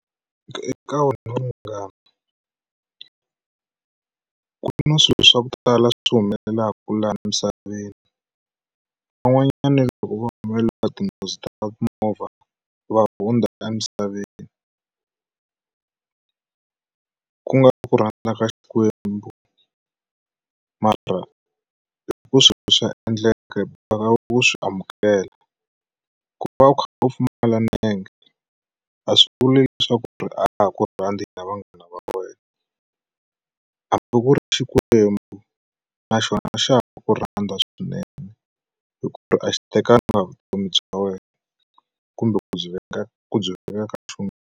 Eka munghana, ku na swilo swa ku tala swi humelelaku laha emisaveni van'wanyana loko va humeleriwa tinghozi ta timovha va hundza emisaveni ku nga ri ku rhandza ka xikwembu mara hi ku swilo swa endleka boheka ku swi amukela ku va a kha a pfumala milenge a swi vuli leswaku a ku ha ku rhandzi hina vanghana va wena hambi ku ri xikwembu na xona a xa ha ku rhandza swinene hi ku ri a xi tekanga vutomi bya wena kumbe ku byi .